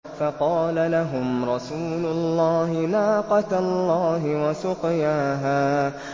فَقَالَ لَهُمْ رَسُولُ اللَّهِ نَاقَةَ اللَّهِ وَسُقْيَاهَا